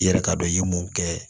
I yɛrɛ k'a dɔn i ye mun kɛ